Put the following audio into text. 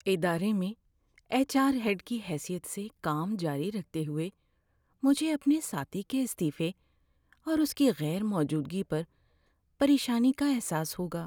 ادارے میں H R head کی حیثیت سے کام جاری رکھتے ہوئے مجھے ‏اپنے ساتھی کے استعفے اور اس کی غیر موجودگی پر پریشانی کا احساس ہوگا‏۔